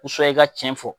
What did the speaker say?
i ka cɛn fɔ